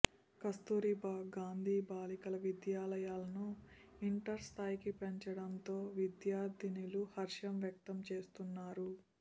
కస్తూర్భా గాంధీ బాలికల విద్యాలాయలను ఇంటర్స్థాయికి పెంచడంతో విద్యార్థినీలు హర్షంవ్యక్తం చేస్తున్నారు